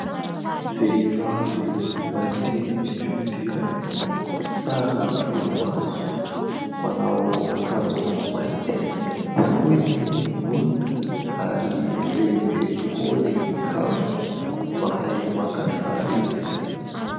Vehivavy mainty fihodirana, tsara volomaso, manao akanjo mainty, fohy ny volony ary lehibe tokoa ny kaviny, mahay maka sary izy.